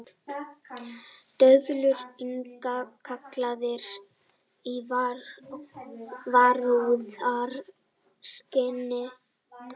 Döðlur innkallaðar í varúðarskyni